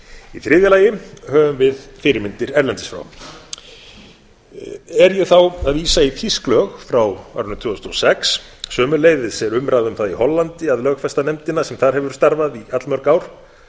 í þriðja lagi höfum við fyrirmyndir erlendis frá er ég þá að vísa í þýsk lög frá árinu tvö þúsund og sex sömuleiðis er umræða um það í hollandi að lögfesta nefndina sem þar hefur starfað í allmörg ár